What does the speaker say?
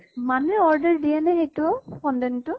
মানুহে order দিয়ে নে সেইটো ফন্দেন টো?